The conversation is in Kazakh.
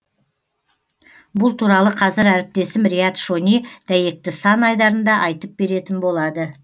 бұл туралы қазір әріптесім рият шони дәйекті сан айдарында айтып беретін болады